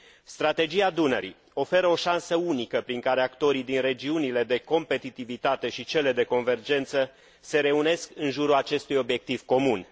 Strategia Dunării oferă o șansă unică prin care actorii din regiunile de competitivitate și cele de convergență se reunesc în jurul acestui obiectiv comun.